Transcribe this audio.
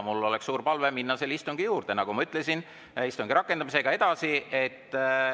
Mul oleks suur palve minna selle istungi juurde, nagu ma ütlesin, minna istungi rakendamisega edasi.